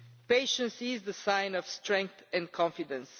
Patience is the sign of strength and confidence.